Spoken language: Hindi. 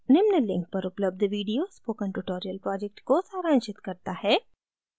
निम्न link पर उपलब्ध video spoken project को सारांशित करता है